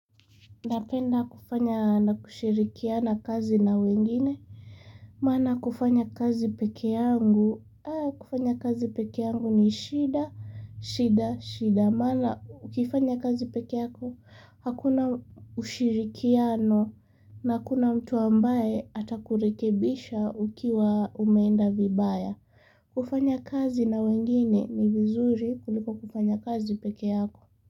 Napenda kufanya na kushirikiana kazi na wengine, maana kufanya kazi peke yangu, kufanya kazi peke yangu ni shida, shida, shida, maana ukifanya kazi peke yako, hakuna ushirikiano na hakuna mtu ambaye hata kurekebisha ukiwa umeenda vibaya. Kufanya kazi na wengine ni vizuri kuliko kufanya kazi peke yako.